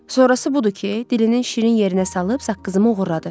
Sonrası budur ki, dilinin şirin yerinə salıb saqqızımı oğurladı.